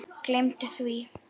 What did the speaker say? Gleymdu því!